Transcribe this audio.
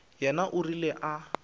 yena o rile a re